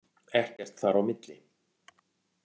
Ekkert þar á milli!